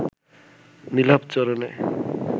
নীলাভ চরণে